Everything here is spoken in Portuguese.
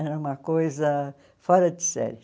Era uma coisa fora de série.